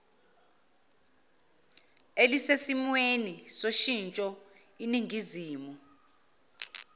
elisesimweni soshintsho iningizimu